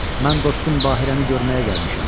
Mən dostum Bahirəni görməyə gəlmişəm.